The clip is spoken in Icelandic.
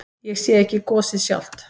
Ég sé ekki gosið sjálft.